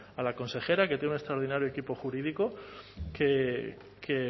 a la consejera que tiene un extraordinario equipo jurídico que